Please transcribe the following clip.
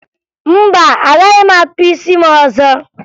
Mba, agaghị m akpụ isi m ọzọ